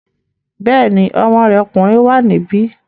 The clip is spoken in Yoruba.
Bẹ́ẹ̀ni, ọmọ rẹ̀ ọkùnrin wà níbí